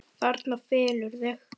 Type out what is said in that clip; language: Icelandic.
Þarna felurðu þig!